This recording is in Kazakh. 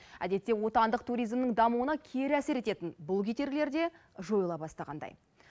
әдетте отандық туризмнің дамуына кері әсер ететін бұл кедергілер де жойыла бастағандай